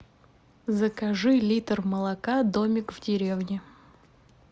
закажи литр молока домик в деревне